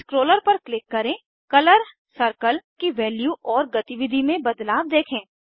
scroller पर click करेंकलर circle की वैल्यू और गतिविधि में बदलाव देखें